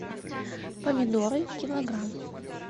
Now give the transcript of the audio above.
помидоры килограмм